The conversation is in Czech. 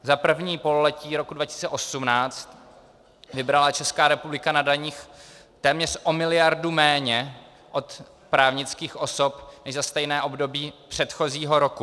Za první pololetí roku 2018 vybrala Česká republika na daních téměř o miliardu méně od právnických osob než za stejné období předchozího roku.